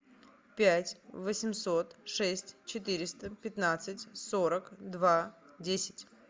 пять восемьсот шесть четыреста пятнадцать сорок два десять